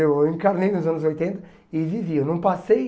Eu encarnei nos anos oitenta e vivi. Eu não passei